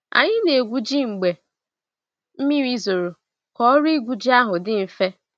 Anyi na egwu ji mgbe mmiri zoro ka ọrụ igwu ji ahụ di mfe.